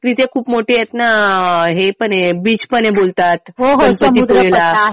तिथे खूप मोठे आहेत ना हे पण आहे बीच पण आहे बोलतात गणपतीपुळेला.